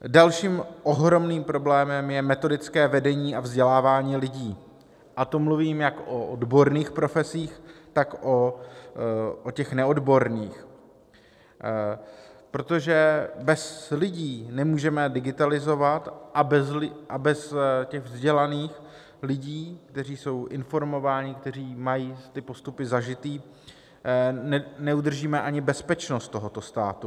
Dalším ohromným problémem je metodické vedení a vzdělávání lidí, a to mluvím jak o odborných profesích, tak o těch neodborných, protože bez lidí nemůžeme digitalizovat a bez těch vzdělaných lidí, kteří jsou informovaní, kteří mají ty postupy zažité, neudržíme ani bezpečnost tohoto státu.